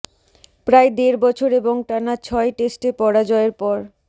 প্রায় দেড় বছর এবং টানা ছয় টেস্টে পরাজয়ের পর